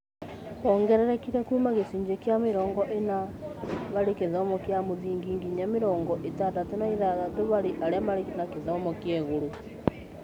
Wongererekire kuuma gĩcunjĩ kĩa mĩrongo ĩna harĩ a gĩthomo kĩa mũthingi nginya mĩrongo ĩtandatũ na ithathatũ harĩ arĩa marĩ na gĩthomo kĩa igũrũ